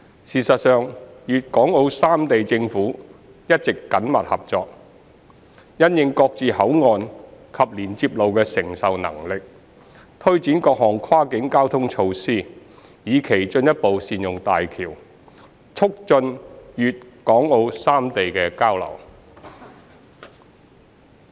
事實上，粵港澳三地政府一直緊密合作，因應各自口岸及連接路的承受能力，推展各項跨境交通措施，以期進一步善用大橋，促進粵港澳三地的交流。